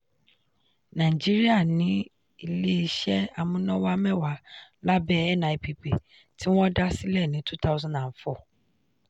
nàìjíríà ní ilé iṣẹ́ amúnáwá mẹ́wàá lábẹ́ nipp tí wọ́n dá sílẹ̀ ní 2004.